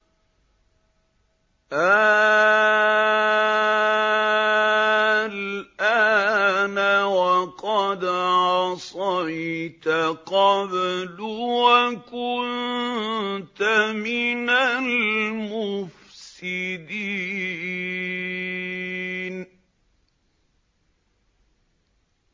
آلْآنَ وَقَدْ عَصَيْتَ قَبْلُ وَكُنتَ مِنَ الْمُفْسِدِينَ